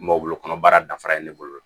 Mɔ bolo kɔnɔbara dafara ye ne bolo